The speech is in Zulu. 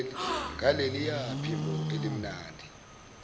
ngaleliya phimbo elimnandi